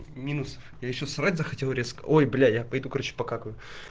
минус я ещё срать захотел резко ой бля я пойду короче покакаю